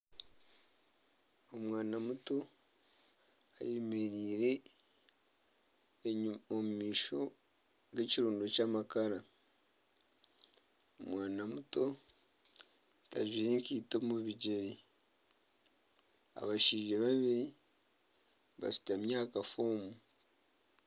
Omwana muto ayemereire omu maisho g'ekirundo ky'amakara, omwana muto tajwaire nkaito omu bigyere abashaija babiri bashutami aha kafoomu.